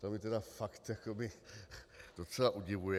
To mě tedy fakt jakoby docela udivuje.